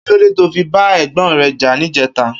Kilódé tó fi bà ègbòn rè jà nijètá?